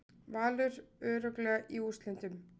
Valur örugglega í úrslitin